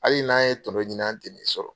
Hali n'an ye tɔnɔ ɲini an tɛ nin sɔrɔ.